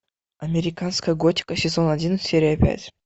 американская готика сезон один серия пять